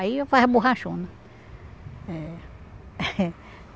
Aí faz a borrachona. Eh